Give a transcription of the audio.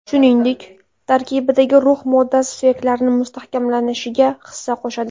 Shuningdek, tarkibidagi rux moddasi suyaklarni mustahkamlanishiga hissa qo‘shadi.